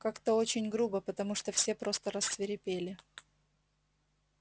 как-то очень грубо потому что все просто рассвирепели